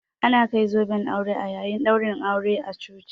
Ana kai zoben aure a yayin ɗaurin aure a coci